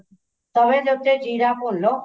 ਤਵੇ ਦੇ ਉੱਤੇ ਜ਼ੀਰਾ ਭੁੰਨ ਲੋ